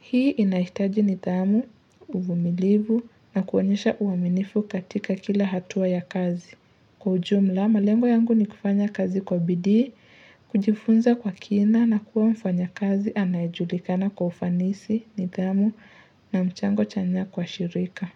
Hii inahitaji nidhamu, uvumilivu na kuonyesha uaminifu katika kila hatua ya kazi. Kwa ujumla, malengo yangu ni kufanya kazi kwa bidii, kujifunza kwa kina na kuwa mfanyakazi anayejulikana kwa ufanisi, nidhamu na mchango chanya kwa shirika.